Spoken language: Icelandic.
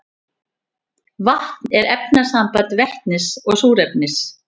vatn er efnasamband vetnis og súrefnis